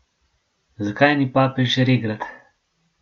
Zakaj ni papež regrat?